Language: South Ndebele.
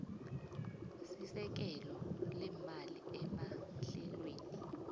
sesekelo leemali emahlelweni